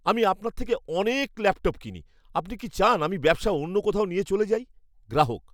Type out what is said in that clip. আমি আপনার থেকে অনেক ল্যাপটপ কিনি। আপনি কি চান আমি ব্যবসা অন্য কোথাও নিয়ে চলে যাই? গ্রাহক